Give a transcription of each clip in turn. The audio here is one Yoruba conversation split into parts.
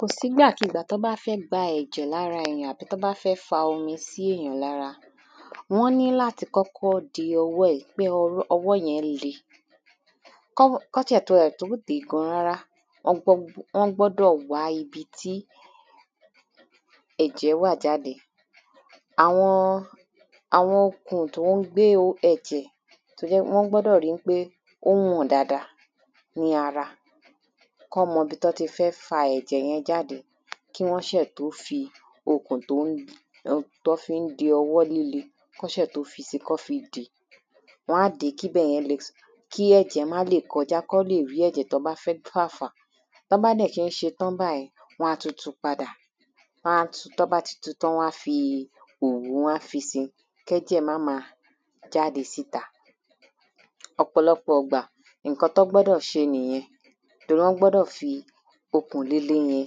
Kò sí ìgbàkígbà tí wọ́n bá fẹ́ gba ẹ̀jẹ̀ ní ara èyàn àbí tí wọ́n bá fẹ́ fa omi sí èyàn ní ara Wọ́n níláti kọ́kọ́ de ọwọ́ e pé ọwọ́ yẹn ń le Kí wọ́n tiẹ̀ tó de gan rárá wọ́n gbọ́dọ̀ wá ibi tí ẹ̀jẹ̀ wà jáde Àwọn okùn tí ó ń gbé ẹ̀jẹ̀ tí ó jẹ ń pé wọ́n gbọ́dọ̀ ri ń pé o ń hàn dáadáa ní ara Kí wọ́n mọ ibi tí wọ́n ti fẹ́ fa ẹ̀jẹ̀ yẹn jáde kí wọ́n ṣe tó fi okùn ti ó ń tí wọ́n fi ń de ọwọ́ líle kí wọn ṣe tó fisi kí wọn fi dè é Wọ́n á dè é kí ibẹ̀yẹn le Kí ẹ̀jẹ̀ má lè kọjà kí wọn lè rí ẹ̀jẹ̀ tí wọ́n bá fẹ́ fà fà Tí wọ́n bá dẹ̀ ṣe ń ṣetán báyì wọ́n á tún tu padà Wọ́n á tu tí wọ́n bá ti tu tán wọ́n a fi òwú wọ́n á fisi kí ẹ̀jẹ̀ má máa jáde sí ìta Ọ̀pọ̀lọpò ìgbà nǹkan tí wọ́n gbọ́dọ̀ ṣe nìyẹn Torí wọ́n gbọ́dọ̀ fi okùn líle yẹn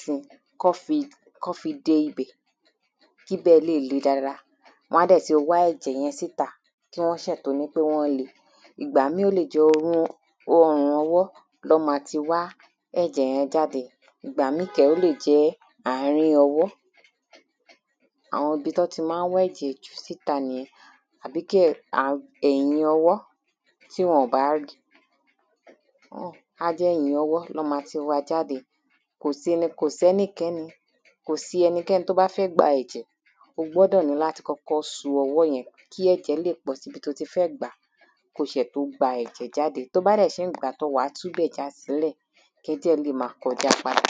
fun kí wọ́n fi de ibẹ̀ kí ibẹ̀ lè le dáadáa Wọ́n á dẹ̀ ti wá ẹ̀jẹ̀ yẹn síta kí wọ́n ṣẹ̀ tó nípé wọ́n ń le Ìgbà ìmíì ó lè jẹ́ ọrùn ọwọ́ ni wọ́n ma ti wá ẹ̀jẹ̀ yẹn jáde Ìgbà míì kẹ̀ rèé ó lè jẹ́ àárín ọwọ́ Àwọn ibi tí wọ́n ti máa ń wá ẹ̀jẹ̀ jù síta nìyẹn Àbí kí um ẹ̀yìn ọwọ́ tí wọn ò bá ri Á jẹ́ ẹ̀yìn ọwọ́ ni wọ́n ma ti wa jáde Kò sí ni kò sí ẹnikẹ́ni kò sí ẹnikẹ́ni tí ó bá fẹ́ gba ẹ̀jẹ̀ ó gbọ́dọ̀ níláti kọ́kọ́ so ọwọ́ yẹn kí ẹ̀jẹ̀ lè pọ̀ sí ibi tí ó ti fẹ́ gbà á Kí ó ṣẹ̀ tó gba ẹ̀jẹ̀ jáde Tí ó bá dẹ̀ ṣe ń gbà á tán wà á tú ibẹ̀ já sílẹ̀ kí ẹ̀jẹ̀ lè máa kọjà padà